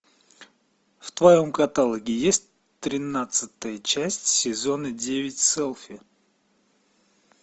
в твоем каталоге есть тринадцатая часть сезона девять селфи